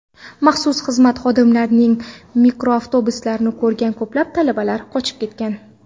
Maxsus xizmat xodimlarining mikroavtobuslarini ko‘rgan ko‘plab talabalar qochib ketgan.